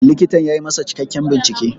Likitan ya yi masa cikakken bincike.